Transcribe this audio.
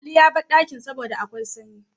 Ali yabar dakin saboda akwai sanyi